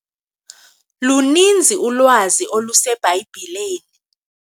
Luninzi ulwazi oluseBhayibhileni.